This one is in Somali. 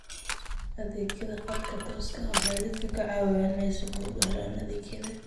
Adeegyada khadka tooska ah waxay dadka ka caawiyaan inay si fudud u helaan adeegyada.